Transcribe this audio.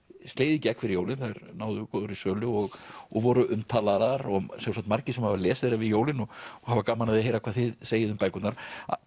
slegið í gegn fyrir jólin þær náðu góðri sölu og og voru umtalaðar og sjálfsagt margir sem hafa lesið þær yfir jólin og hafa gaman af því að heyra hvað þið segið um bækurnar